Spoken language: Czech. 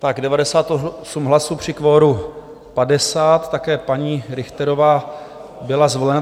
Tak 98 hlasů při kvoru 50, také paní Richterová byla zvolena.